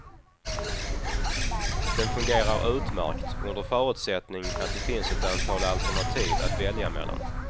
Den fungerar utmärkt, under förutsättning att det finns ett antal alternativ att välja mellan.